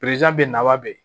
be naba be yen